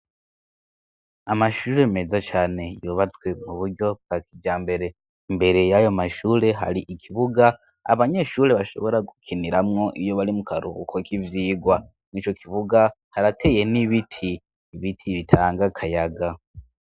Amashure meza cane yubatswe mu buryo bwa kijambere imbere yayo mashure hari ikibuga abanyeshure bashobora gukiniramwo iyo bari mu karuhuko k'ivyigwa nu'icyo kibuga harateye n'ibiti ibiti bitanga kayaga.